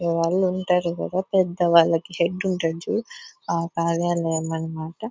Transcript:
వాళ్ళు ఉంటారు కదా పెద్దవాళ్లకి హెడ్ ఉంటది చూడు ఆ బాగానే ఏమంటారు అంటే --.